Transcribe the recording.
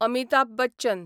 Amitabh Bachchan